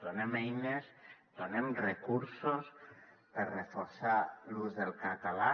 donem eines donem recursos per reforçar l’ús del català